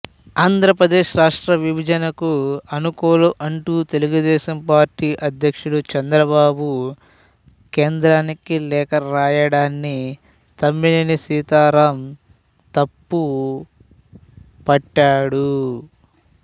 ఆంధ్రప్రదేశ్ రాష్ట్ర విభజనకు అనుకూలం అంటూ తెలుగుదేశంపార్టీ అధ్యక్షుడు చంద్రబాబు కేంద్రానికి లేఖ రాయడాన్ని తమ్మినేని సీతారాం తప్పపట్టాడు